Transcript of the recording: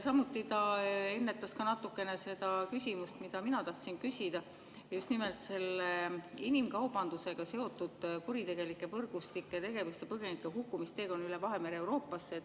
Ta ennetas samuti natukene seda küsimust, mida mina tahtsin küsida, just nimelt selle inimkaubandusega seotud kuritegelike võrgustike tegevuse ja põgenike hukkumise kohta teekonnal üle Vahemere Euroopasse.